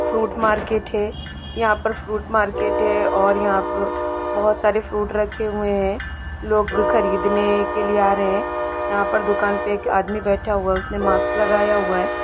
Fruit market है यहाँ पर फ्रूट मार्केट हैं और यहाँ पू बहोत सारे फ्रूट रखे हुये है लोग खरीद ने के लिए आ रहे है यहाँ पर दुकान पे एक आदमि बैठा हुआ है उसने माक्स लगाया हुआ हैं।